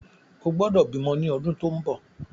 O gbọ́dọ̀ bímọ ni ọdún tó ń bọ̀!